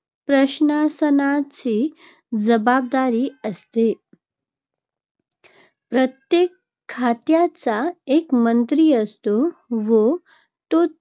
प्रशासनाची जबाबदारी असते. प्रत्येक खात्याचा एक मंत्री असतो व तो त्या